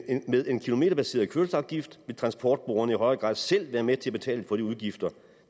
med en kilometerbaseret kørselsafgift vil transportbrugerne i højere grad selv være med til at betale for de udgifter